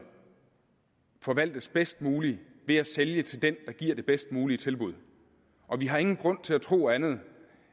forvaltes bedst muligt ved at sælge til den der giver det bedst mulige tilbud og vi har ingen grund til at tro andet